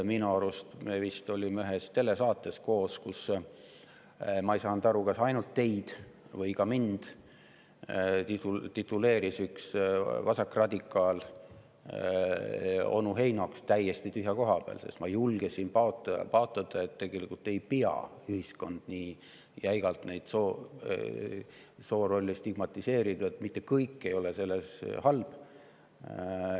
Minu arust me vist olime ühes telesaates koos, kui üks vasakradikaal, ma ei saanud aru, kas ainult teid või ka mind onu Heinoks tituleeris täiesti tühja koha pealt, sest ma julgesin paotada, et tegelikult ei peaks ühiskond soorolle nii jäigalt stigmatiseerima, et mitte kõik selle juures ei ole halb.